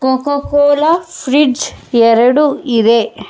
Cocoa Cola fridge ಎರಡು ಇದೆ.